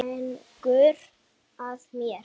Gengur að mér.